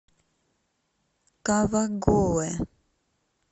кавагоэ